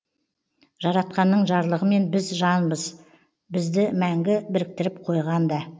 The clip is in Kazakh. жаратқанның жарлығымен бір жанбыз бізді мәңгі біріктіріп қойған да